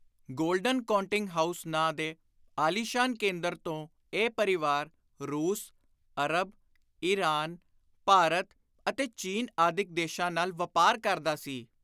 Golden Counting House ਨਾਂ ਦੇ ਆਲੀਸ਼ਾਨ ਕੇਂਦਰ ਤੋਂ ਇਹ ਪਰਿਵਾਰ ਰੂਸ, ਅਰਬ, ਈਰਾਨ, ਭਾਰਤ ਅਤੇ ਚੀਨ ਆਦਿਕ ਦੇਸ਼ਾਂ ਨਾਲ ਵਾਪਾਰ ਕਰਦਾ ਸੀ।